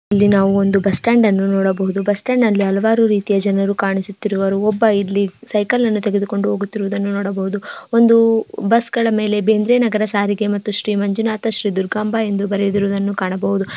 ಇಲ್ಲಿ ನಾವು ಒಂದು ಬಸ್ಟ್ಯಾಂಡನ್ನು ನೋಡಬಹುದು ಬಸ್ ಸ್ಟ್ಯಾಂಡ್ ನಲ್ಲಿ ಹಲವಾರು ರೀತಿಯ ಜನರು ಕಾಣಿಸುತ್ತಿರುವರು ಒಬ್ಬ ಇಲ್ಲಿ ಸೈಕಲ್ ಅನ್ನು ತೆಗೆದುಕೊಂಡು ಹೋಗುತ್ತಿರುವುದನ್ನು ನೋಡಬಹುದು ಒಂದು ಬಸ್ಗಳ ಮೇಲೆ ಬೇಂದ್ರೆ ನಗರ ಸಾರಿಗೆ ಮತ್ತು ಶ್ರೀ ಮಂಜುನಾಥ ಶ್ರೀ ದುರ್ಗಾಂಬ ಎಂದೂ ಬರೆದಿರುವುದನ್ನು ಕಾಣಬಹುದು.